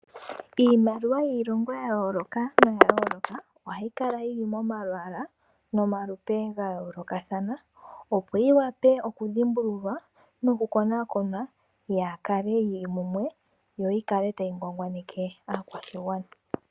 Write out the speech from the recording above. Iimaliwa yiilongo ya yooloka noya yooloka, ohayi kala yi li momalwaala nomalupe ga yoolokathana, opo yiwape okudhimbululwa, nokukonakonwa yaakale yili mumwe, yo kaayikale tayi ngwangwaneke aakwashigwana.